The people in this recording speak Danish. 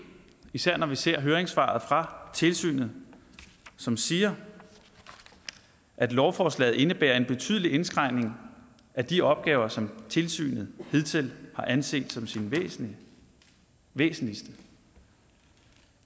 især når vi ser høringssvaret fra tilsynet som siger at lovforslaget indebærer en betydelig indskrænkning af de opgaver som tilsynet hidtil har anset som sine væsentligste